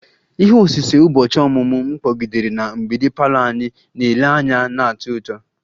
Ihe osise ụbọchị ọmụmụ m kpọgidere na mgbidi parlour anyị na-ele anya na-atọ ụtọ